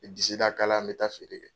N bɛ disida kala n bɛ taa feere kɛ.